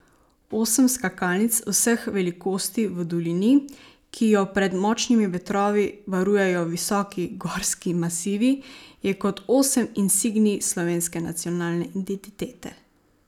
Osem skakalnic vseh velikosti v dolini, ki jo pred močnimi vetrovi varujejo visoki gorski masivi, je kot osem insignij slovenske nacionalne identitete.